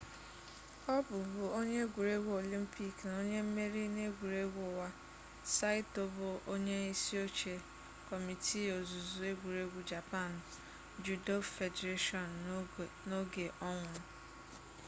ọ bụbu onye egwuregwu olympic na onye mmeri n'egwuregwu ụwa saito bụ onye isi oche kọmiti ozuzu egwuregwu japan judo federation n'oge ọ nwụrụ